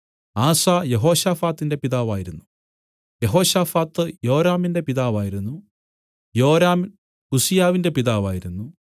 ആസാ യെഹോശാഫാത്തിന്റെ പിതാവായിരുന്നു യെഹോശാഫാത്ത് യോരാമിന്റെ പിതാവായിരുന്നു യോരാം ഉസ്സീയാവിന്റെ പിതാവായിരുന്നു